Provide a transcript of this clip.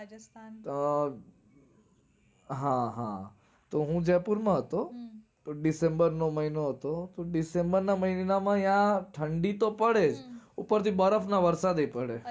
રાજસ્થાન. અમ હા હા. તો હું જયપુર માં હતો તો december નો મહિનો હતો તો december ના મહીના માં ન્યાં ઠંડી તો પડે ઉપર થી બરફ ના વરસાદ ય પડે